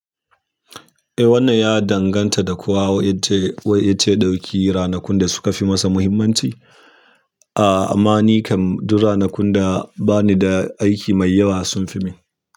Eh, wannan ya danganta da ko wa'ence ce ɗauki ranakun da suka fi masa muhimmanci. Amma nikam duk ranakun da bani da aiki dayawa sunfimun.